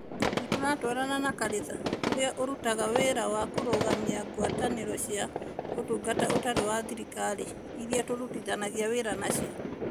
Nĩ tũratwarana na kanitha ũrĩa ũrutaga wĩra wa kũrũgamia ngwatanĩro cia Ũtungata Ũtarĩ wa Thirikari (NGOs) iria tũrutithanagia wĩra nacio.